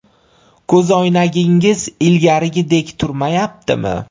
Ko‘zoynagingiz ilgarigidek turmayaptimi?